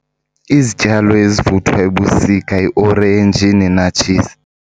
Izityalo ezivuthwa ebusika yiorenji nenatshisi.